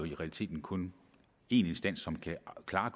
i realiteten kun en instans som kan afklare